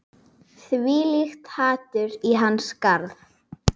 Þvílíkt hatur í hans garð